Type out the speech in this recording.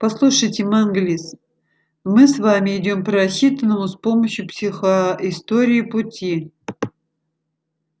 послушайте манглис мы с вами идём по рассчитанному с помощью психоистории пути